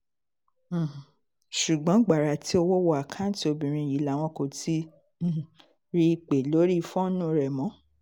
um ṣùgbọ́n gbàrà tí owó wọ àkáùntì obìnrin yìí làwọn kò ti um rí i pé lórí fóònù rẹ̀ mọ́